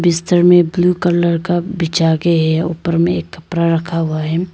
बिस्तर में blue colour का बिछा गए है ऊपर में एक कपड़ा रखा हुआ है।